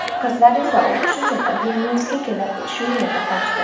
Qizlar esa o‘qish uchun Vilnyusga kelib, shu yerda qolishdi.